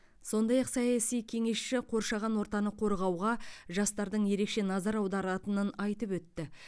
сондай ақ саяси кеңесші қоршаған ортаны қорғауға жастардың ерекше назар аударатынын айтып өтті